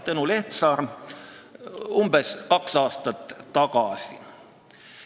" Nii kirjutas Tõnu Lehtsaar umbes kaks aastat tagasi.